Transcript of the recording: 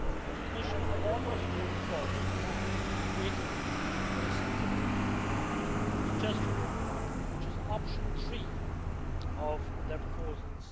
The Commission is close to coming forward with a very sensible suggestion, which is option 3 of their proposals.